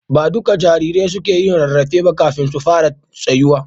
Ba duka jarirai suke yin rarrafe ba kafin su fara tsayuwa.